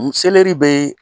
Nin selɛri bɛ ye